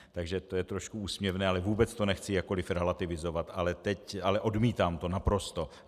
Takže to je trošku úsměvné, ale vůbec to nechci jakkoliv relativizovat, ale odmítám to naprosto.